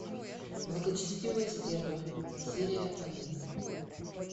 благочестивые стервы серия один